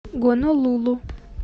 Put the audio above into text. гонолулу